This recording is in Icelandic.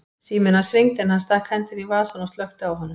Síminn hans hringdi en hann stakk hendinni í vasann og slökkti á honum.